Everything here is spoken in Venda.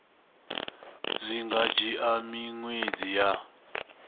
zwi nga dzhia miṅwedzi ya